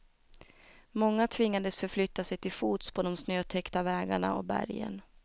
Många tvingades förflytta sig till fots på de snötäckta vägarna och bergen.